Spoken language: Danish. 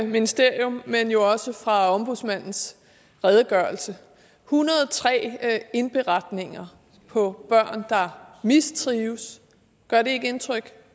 ministerium men jo også fra ombudsmandens redegørelse en hundrede og tre indberetninger på børn der mistrives gør det ikke indtryk